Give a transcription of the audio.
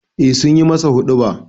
Eh sun yi masa huɗuba.